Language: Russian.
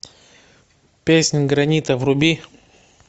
песнь гранита вруби